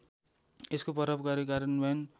यसको प्रभावकारी कार्यान्वयन